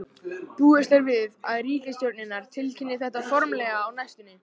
Búist er við að ríkisstjórnirnar tilkynni þetta formlega á næstunni.